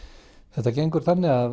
þetta gengur þannig að